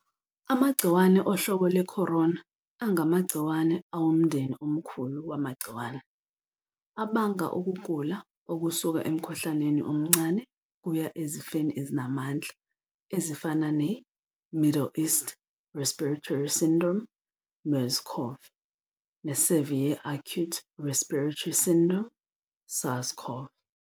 Amagciwane ohlobo lwekhorona angamagcciwane awumndeni omkhulu wamagciwane abanga ukugula okusuka emkhuhlaneni omncane kuya ezifeni ezinamandla ezifana ne-Middle East Respiratory Syndrome, MERS-CoV, ne-Severe Acute Respiratory Syndrome, SARS-CoV.